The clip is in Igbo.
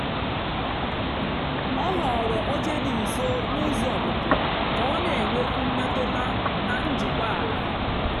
ọ họ̀ọ̀rọ́ óchè dị́ nsó na ụ́zọ́ ọ́pụ̀pụ́ kà ọ na-ènwékwu mmètụ́tà na njìkwàla.